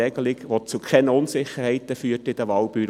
Diese führt zu keinerlei Unsicherheiten in den Wahlbüros.